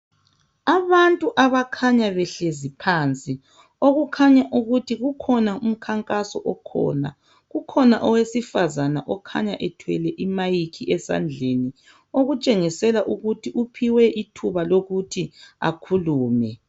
Abantu abakhanya behlezi phansi. Okukhanya ukuthi kukhona umkhankaso okhona. Kukhona owesifazana okhanya ephethe i-mic esandleni okutshengisela ukuthi uphiwe ithuba lokuthi akhulume.